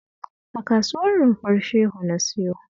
A Kasuwar Rumfar Shehu na siyo